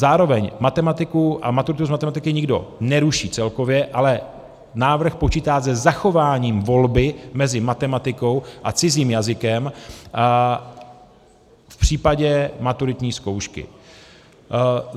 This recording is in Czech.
Zároveň matematiku a maturitu z matematiky nikdo neruší celkově, ale návrh počítá se zachováním volby mezi matematikou a cizím jazykem v případě maturitní zkoušky.